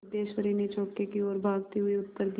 सिद्धेश्वरी ने चौके की ओर भागते हुए उत्तर दिया